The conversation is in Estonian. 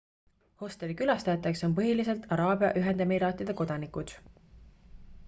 hosteli külastajateks on põhiliselt araabia ühendemiraatide kodanikud